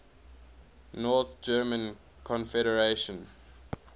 north german confederation